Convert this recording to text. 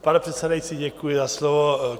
Pane předsedající, děkuji za slovo.